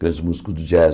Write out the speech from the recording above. Grandes músicos do jazz.